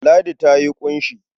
Ladi ta yi ƙunshi.